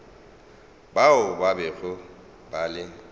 bao ba bego ba le